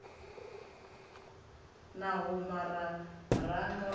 na huma ra ranga u